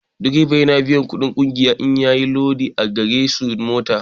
Direba yana biyan kuɗin ƙungiya in yayi lodi a garejin-mota.